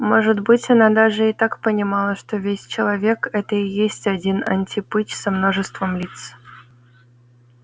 может быть она даже и так понимала что весь человек это и есть один антипыч со множеством лиц